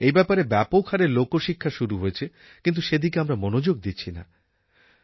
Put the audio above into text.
এই ব্যাপারে ব্যাপক হারে লোকশিক্ষা শুরু হয়েছে কিন্তু সেদিকে আমরা মনোযোগ দিচ্ছি না